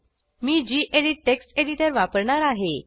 मी gedit text editor वापरणार आहे